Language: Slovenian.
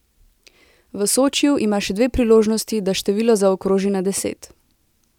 V Sočiju ima še dve priložnosti, da število zaokroži na deset ...